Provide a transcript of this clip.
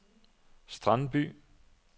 Strandby